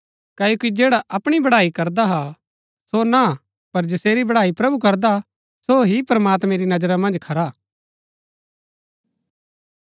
क्ओकि जैडा अपणी बड़ाई करदा हा सो ना पर जसेरी बड़ाई प्रभु करदा हा सो ही प्रमात्मैं री नजरा मन्ज खरा हा